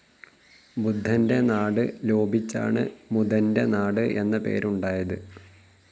ബുദ്ധൻ്റെ നാട് ലോപിച്ചാണ് മുതൻ്റെ നാട് എന്ന പേര് ഉണ്ടായത്.